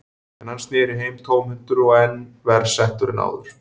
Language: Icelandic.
En hann sneri heim tómhentur og enn verr settur en áður.